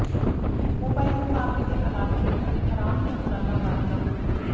mobile ਮੁਕਾਬਲੇ ਦੇ allotment ਅਤੇ ਆਰਾਮ ਦੇ ਅੰਤਰਾਲਾਂ ਬਾਰੇ ਨਾ ਭੁੱਲੋ